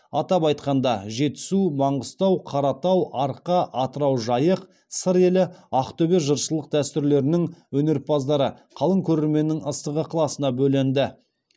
атап айтқанда жетісу маңғыстау қаратау арқа атырау жайық сыр елі ақтөбе жыршылық дәстүрлерінің өнерпаздары қалың көрерменнің ыстық ықыласына бөленді